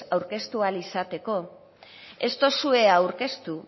aurkeztu ahal izateko ez dozue aurkeztu